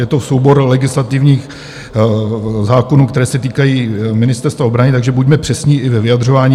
Je to soubor legislativních zákonů, které se týkají Ministerstva obrany, takže buďme přesní i ve vyjadřování.